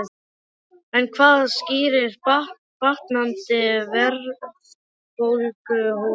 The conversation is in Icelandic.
En hvað skýrir batnandi verðbólguhorfur?